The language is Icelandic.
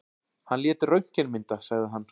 Hann lét röntgenmynda, sagði hann.